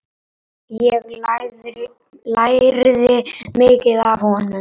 Ég lærði mikið af honum.